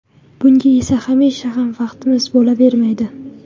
Bunga esa hamisha ham vaqtimiz bo‘lavermaydi.